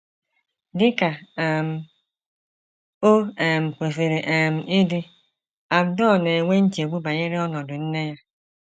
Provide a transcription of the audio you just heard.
Dị ka um o um kwesịrị um ịdị, Abdur na - enwe nchegbu banyere ọnọdụ nne ya.